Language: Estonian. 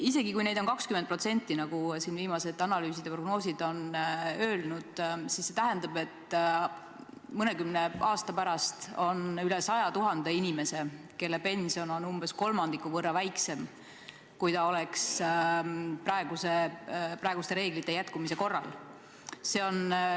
Isegi kui neid on 20%, nagu viimased analüüsid ja prognoosid viitavad, on meil mõnekümne aasta pärast üle 100 000 inimese, kelle pension on umbes kolmandiku võrra väiksem, kui ta oleks praeguste reeglite püsimise korral.